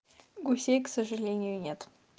гусей к сожалению нет